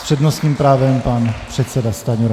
S přednostním právem pan předseda Stanjura.